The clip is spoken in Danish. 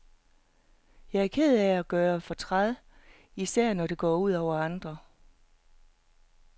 Jeg er ked af at gøre fortræd, især når det går ud over andre.